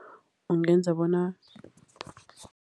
Ungenza bona.